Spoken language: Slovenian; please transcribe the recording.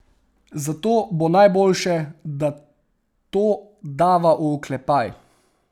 Zato bo najboljše, da to dava v oklepaj.